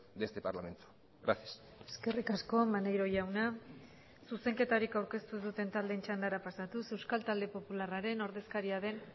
de este parlamento gracias eskerrik asko maneiro jauna zuzenketarik aurkeztu ez duten taldeen txandara pasatuz euskal talde popularraren ordezkaria den